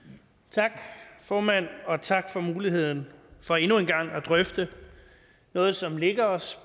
tak formand og tak for muligheden for endnu engang at drøfte noget som ligger os